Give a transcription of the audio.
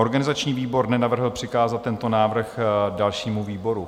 Organizační výbor nenavrhl přikázat tento návrh dalšímu výboru.